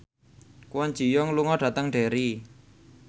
Kwon Ji Yong lunga dhateng Derry